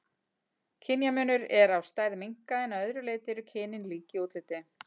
Kynjamunur er á stærð minka en að öðru leyti eru kynin lík í útliti.